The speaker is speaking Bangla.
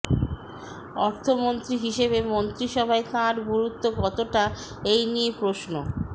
অর্থমন্ত্রী হিসেবে মন্ত্রিসভায় তাঁর গুরুত্ব কতটা এই নিয়ে প্রশ্ন